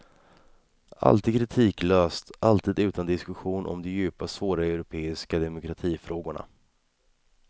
Alltid kritiklöst, alltid utan diskussion om de djupa svåra europeiska demokratifrågorna.